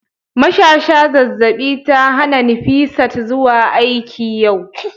mashasha zazzabi ta hana Nifisat zuwa aiki yau